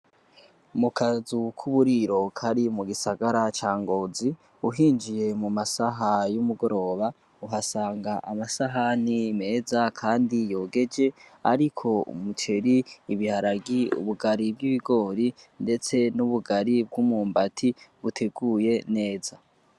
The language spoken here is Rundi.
mukazu kuburiro Kari mugisagara ca ngozi uhinjiye mumasaha yomugoroba uhasanga amasahani meza kandi yogeje ariko umuceri ibiharage ubugari bw'ibigori ndetse ubugari bw'imyumbati buteguye neza